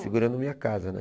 Segurando a minha casa, né?